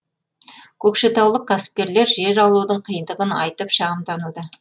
көкшетаулық кәсіпкерлер жер алудың қиындығын айтып шағымдануда